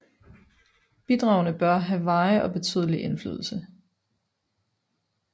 Bidragene bør have varig og betydelig indflydelse